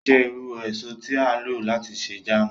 Qirya jẹ iru eso ti a lo lati ṣe jàámu.